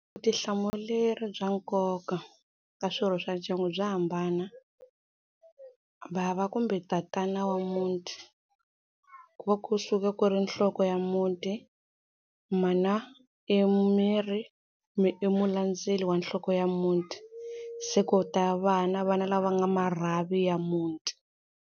Vutihlamuleri bya nkoka ka swirho swa ndyangu bya hambana, bava kumbe tatana wa muti ku va kusuka ku ri nhloko ya muti, mana i miri, i mulandzeli wa nhloko ya muti, se ku ta vana vana lava nga marhavi ya muti.